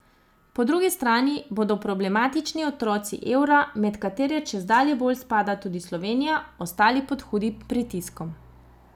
Po drugi strani bodo problematični otroci evra, med katere čedalje bolj spada tudi Slovenija, ostali pod hudim pritiskom.